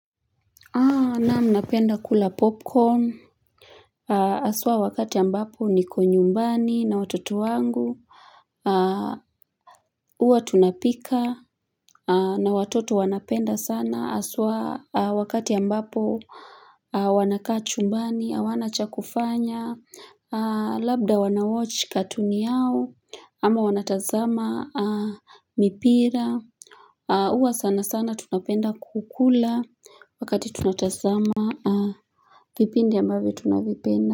Naam napenda kula popcorn, haswa wakati ambapo niko nyumbani na watoto wangu, uwa tunapika na watoto wanapenda sana, haswa wakati ambapo wanakaa chumbani, hawana chakufanya, labda wanawochi katuni yao ama wanatazama mipira. Uwa sana sana tunapenda kukula wakati tunatazama vipindi ambavyo tunavipenda.